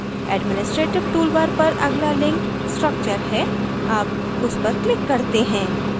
administrative toolbar पर अगला link structure है अब उस पर click करते हैं